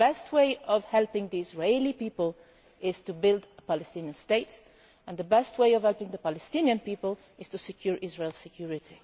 The best way of helping the Israeli people is to build a Palestinian state, and the best way of helping the Palestinian people is to secure Israel's security.